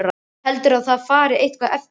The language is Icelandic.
Heldurðu að það fari eitthvað eftir því!